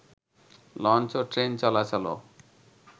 launch ও train চলাচলও